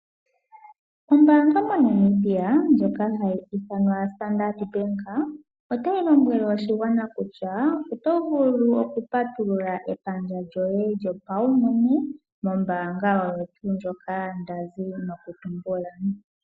Ombaanga MoNamibia ndjoka ha yi ithanwa standard Bank, ota yi lombwele oshigwana kutya, oto vulu oku patulula epandja lyoye lyopaumwene, mombaanga oyo tuu ndjoka nda zi noku tumbula.